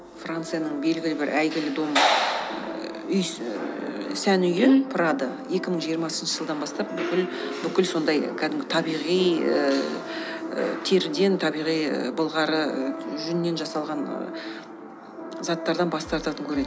францияның белгілі бір әйгілі дом сән үйі прада екі мың жиырмасыншы жылдан бастап бүкіл бүкіл сондай кәдімгі табиғи ііі теріден табиғи былғары жүннен жасалған ііі заттардан бас тартатын көрінеді